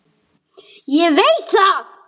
Ég veit það ekki